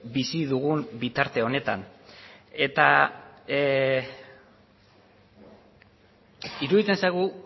bizi dugun bitarte honetan eta iruditzen zaigu